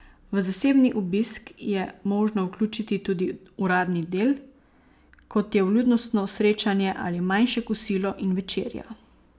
V zasebni obisk je možno vključiti tudi uradni del, kot je vljudnostno srečanje ali manjše kosilo in večerja.